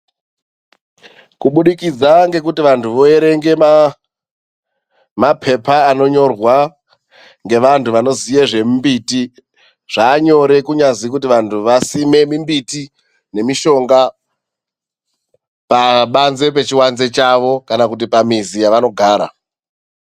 KUBUDIKIDZA NGEKUTI VANTU VOERENGA MAA MAPEPA ANONYORWA NGEVANTU VANOZIYE ZVEMIMBITI. ZVANYORE KUNYAZI VANTU VASIME MIMBITI NEMISHONGA PABANZE PECHIVANZE CHAVO KANA KUTI PAMIZI YAVANOGARA.